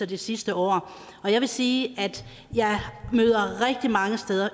det sidste år og jeg vil sige at jeg møder rigtig mange